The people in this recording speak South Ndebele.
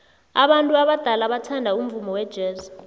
abantu abadala bathanda umvumo wejazz